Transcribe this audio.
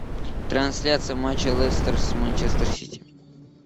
трансляция матча лестер с манчестер сити